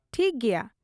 ᱴᱷᱤᱠ ᱜᱮᱭᱟ ᱾